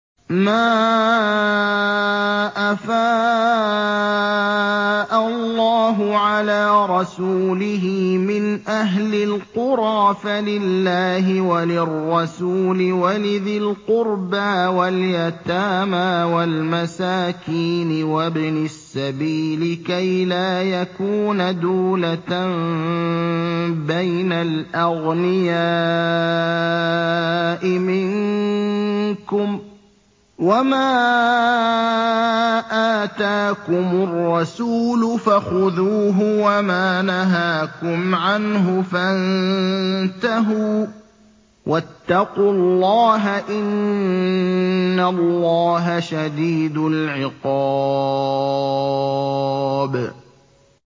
مَّا أَفَاءَ اللَّهُ عَلَىٰ رَسُولِهِ مِنْ أَهْلِ الْقُرَىٰ فَلِلَّهِ وَلِلرَّسُولِ وَلِذِي الْقُرْبَىٰ وَالْيَتَامَىٰ وَالْمَسَاكِينِ وَابْنِ السَّبِيلِ كَيْ لَا يَكُونَ دُولَةً بَيْنَ الْأَغْنِيَاءِ مِنكُمْ ۚ وَمَا آتَاكُمُ الرَّسُولُ فَخُذُوهُ وَمَا نَهَاكُمْ عَنْهُ فَانتَهُوا ۚ وَاتَّقُوا اللَّهَ ۖ إِنَّ اللَّهَ شَدِيدُ الْعِقَابِ